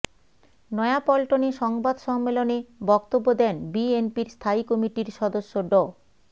নয়াপল্টনে সংবাদ সম্মেলনে বক্তব্য দেন বিএনপির স্থায়ী কমিটির সদস্য ড